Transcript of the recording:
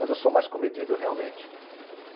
Mas eu sou mais comedido, realmente.